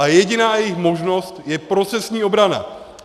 A jediná jejich možnost je procesní obrana.